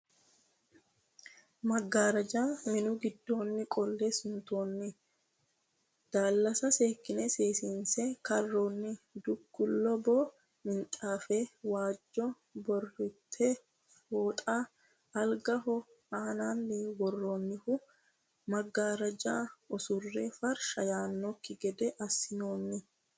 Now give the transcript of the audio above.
Maggaara minu giddoonni qolle suntoonni, daallasa seekine seesiinse karroonni, duuu kuuli boo minxaafe , waajjo burritte fooxa algaho aanaanni worroonnihu. maggaarraja usurre farsha yaannokki gede assinoonni.